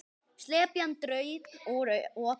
Slepjan draup úr opinu.